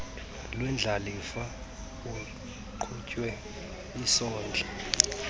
wendlalifa wokuqhuba isondla